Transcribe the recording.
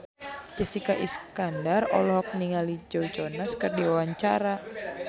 Jessica Iskandar olohok ningali Joe Jonas keur diwawancara